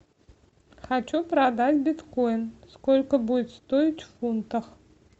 хочу продать биткоин сколько будет стоить в фунтах